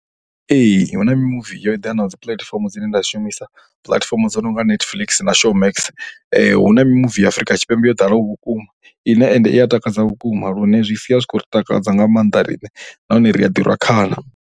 Ee, hu na mimuvi yo eḓenaho dzi puḽatifomo dzine nda shumisa puḽatifomo dzo no nga Netflix na Showmax. Hu na mimuvi ya Afrika Tshipembe yo ḓalaho vhukuma ine ende i ya takadza vhukuma lune zwi sia zwi khou ri takadza nga maanḓa riṋe nahone ri a ḓi rwa khana.